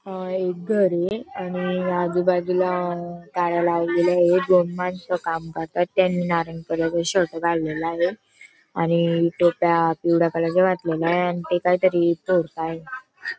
अ एक घरय आणि आजूबाजूला गाड्या लावलेल्यायेत दोन माणस काम करता त्यांनी नारंगी कलर चा शर्ट घातलेलाय आणि टोप्या पिवळ्या कलर च्या घातलेल्या आहे आणि ते काहीतरी तोडताय.